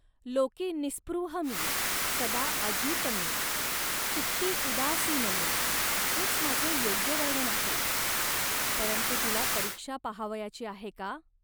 लोकी निःस्पृह मी, सदा अजित मी, चित्ती उदासीन मी' हेच माझे योग्य वर्णन आहे. परंतु तुला परीक्षा पाहावयाची आहे का